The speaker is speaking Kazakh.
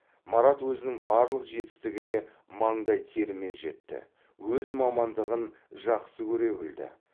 марат өзінің барлық жетістігіне маңдай терімен жетті өз мамандығын жақсы көре білді